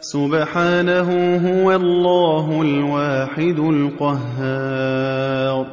سُبْحَانَهُ ۖ هُوَ اللَّهُ الْوَاحِدُ الْقَهَّارُ